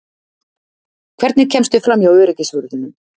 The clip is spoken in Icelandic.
Hvernig kemstu framhjá öryggisvörðunum?